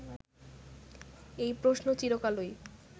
এই প্রশ্ন চিরকালই